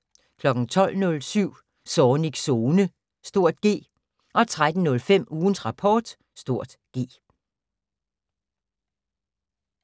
12:07: Zornigs Zone (G) 13:05: Ugens Rapport (G)